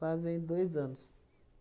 Fazem dois anos.